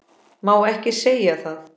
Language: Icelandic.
Má ekki segja það?